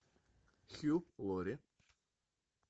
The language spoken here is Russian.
хью лори